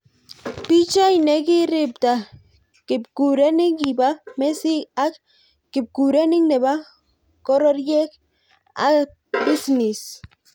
Bi Choi ne kiribta kipkurenik kibo mesik ak kipkurenik nebo kororyek ab bisnis.